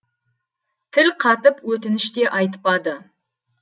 тіл қатып өтініш те айтпады